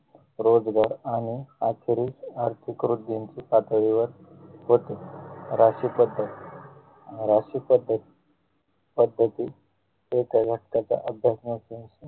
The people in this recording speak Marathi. रोजगार आणि आर्थरिक आर्थिक वृद्धींचे पातळीवर होते राशी पद्धत राशी पद्धत पद्धती ते त्या हक्कांच्या